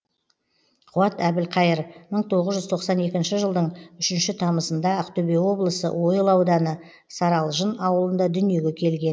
қуат әбілқайыр мың тоғыз жүз тоқсан екінші жылдың үшінші тамызында ақтөбе облысы ойыл ауданы саралжын ауылында дүниеге келген